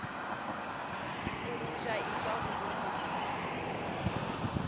bogoja e tšwa go boneng